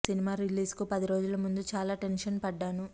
cinema release కు పది రోజులు ముందు చాలా టెన్షన్ పడ్డాను